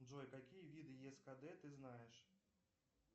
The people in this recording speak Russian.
джой какие виды ескд ты знаешь